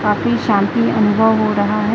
काफी शांति अनुभव हो रहा है।